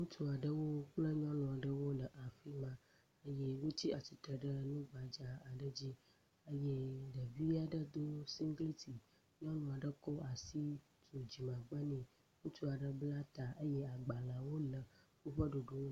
ŋutsu aɖewo kple nyɔnu aɖewo le afi ma eye wotsi atsitre ɖe nu gbadza aɖe dzi eye ɖevi aɖe di singleti. Nyɔnu aɖe kɔ asi ƒo dzimegbe nɛ. Ŋutsu aɖe bla ta eye agbalẽwo le woƒe ɖoɖowo…